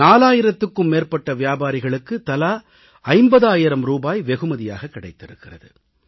4000க்கும் மேற்பட்ட வியாபாரிகளுக்கு தலா 50000 ரூபாய் வெகுமதியாகக் கிடைத்திருக்கிறது